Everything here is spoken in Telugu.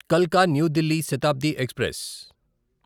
కల్కా న్యూ దిల్లీ శతాబ్ది ఎక్స్ప్రెస్